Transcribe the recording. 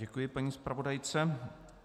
Děkuji paní zpravodajce.